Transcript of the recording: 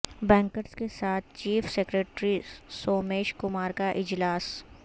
bankers کے ساتھ chief secretary Somesh Kumar کا اجلاس